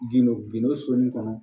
Gindo gindo soni kɔnɔ